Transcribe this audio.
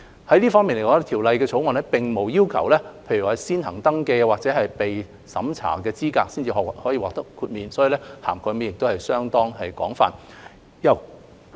在這方面來說，《條例草案》並無要求指明團體須先行登記或接受資格審查後，才可以獲得豁免，涵蓋範圍相當廣泛。